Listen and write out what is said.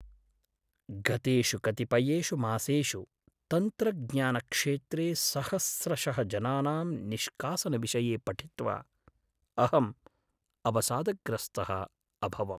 गतेषु कतिपयेषु मासेषु तन्त्रज्ञानक्षेत्रे सहस्रशः जनानां निष्कासनविषये पठित्वा अहम् अवसादग्रस्तः अभवम्।